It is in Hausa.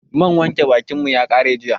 Man wanke bakin mu ya ƙare jiya